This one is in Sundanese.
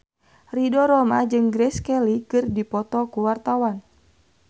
Ridho Roma jeung Grace Kelly keur dipoto ku wartawan